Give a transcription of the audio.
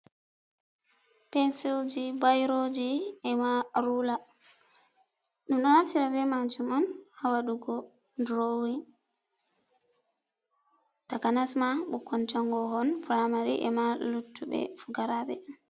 Pensilji, Bairoji emaa Ruula, đum đo naftira beh maajum on haa wadugo duroowin, takanasmaa bunkon jangoohon Piraamari emaa luttu6e pukaraabe.